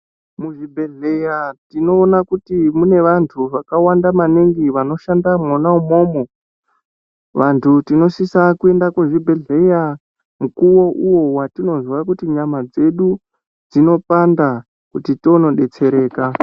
Muzvibhehleya tinoona kuti mune vantu vakawanda maningi vanoshanda mwona umwomwo. Vantu tinosisa kuenda kuzvibhedhleya mukuwo uwo watinozwa kuti nyama dzedu dzinopanda kuti tionodetsereka.